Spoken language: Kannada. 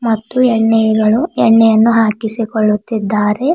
ಮತ್ತು ಎಣ್ಣೆಯಗಳು ಎಣ್ಣೆಯನ್ನು ಹಾಕಿಸಿ ಕೊಳ್ಳುತಿದ್ದಾರೆ.